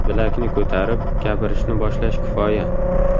Bilakni ko‘tarib, gapirishni boshlash kifoya.